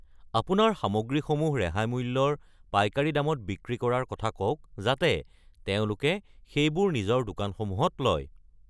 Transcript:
আপোনাৰ সামগ্ৰীসমূহ ৰেহাই মূল্যৰ পাইকাৰী দামত বিক্ৰী কৰাৰ কথা কওক যাতে তেওঁলোকে সেইবোৰ নিজৰ দোকানসমূহত লয়।